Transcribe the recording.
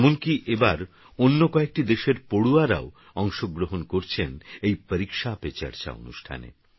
এমনকিএবারঅন্যকয়েকটিদেশেরপড়ুয়ারাওঅংশগ্রহণকরছেনএই পরীক্ষাপেচর্চা অনুষ্ঠানে